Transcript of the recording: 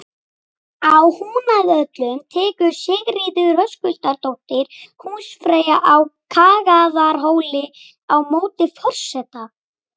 Á Húnavöllum tekur Sigríður Höskuldsdóttir húsfreyja á Kagaðarhóli á móti forseta.